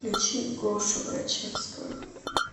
включи гошу грачевского